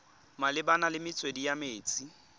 malebana le metswedi ya metsi